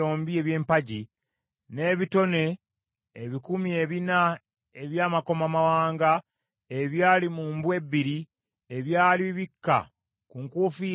n’ebitone ebikumi ebina eby’amakomamawanga ebyali mu mbu ebbiri, ebyali bibikka ku nkufiira ez’empagi;